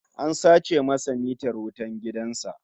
An sace masa mitar wutan gidan sa